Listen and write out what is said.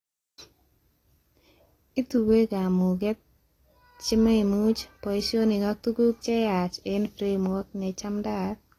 Ituyee kamuget, chememuch, boishonik ak tuguk cheyaach eng framework nechamdaat